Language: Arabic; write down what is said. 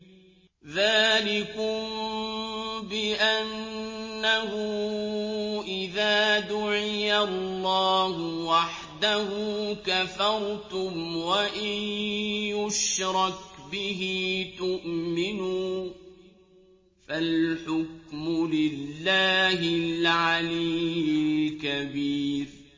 ذَٰلِكُم بِأَنَّهُ إِذَا دُعِيَ اللَّهُ وَحْدَهُ كَفَرْتُمْ ۖ وَإِن يُشْرَكْ بِهِ تُؤْمِنُوا ۚ فَالْحُكْمُ لِلَّهِ الْعَلِيِّ الْكَبِيرِ